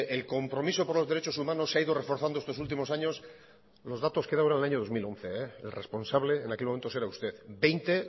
el compromiso por los derechos humanos se ha ido reforzando estos últimos años los datos creo que son del año dos mil once el responsable en aquel momento era usted veinte